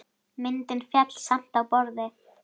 Myndin féll samt á borðið.